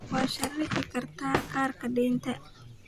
Waxaad sharxi kartaa kaarka deynta